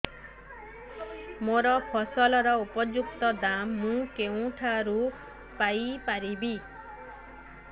ମୋ ଫସଲର ଉପଯୁକ୍ତ ଦାମ୍ ମୁଁ କେଉଁଠାରୁ ପାଇ ପାରିବି